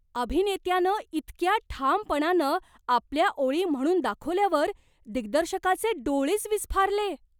अभिनेत्यानं इतक्या ठामपणानं आपल्या ओळी म्हणून दाखवल्यावर दिग्दर्शकाचे डोळेच विस्फारले!